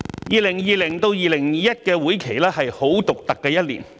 2020-2021 年度的會期是很獨特的一年。